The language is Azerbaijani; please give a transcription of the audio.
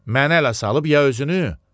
Mənə ələ salıb ya özünü?